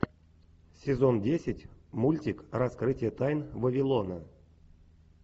сезон десять мультик раскрытие тайн вавилона